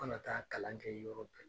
Ma na taa kalan kɛ yɔrɔ